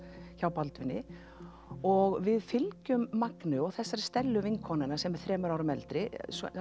hjá Baldvini og við fylgjum Magneu og þessari Stellu vinkonu hennar sem er þremur árum eldri